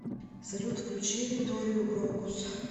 салют включи викторию крокус